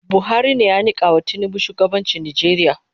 Buhari ne ya mikawa tinubu shugabanchi Nijeria